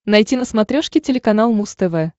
найти на смотрешке телеканал муз тв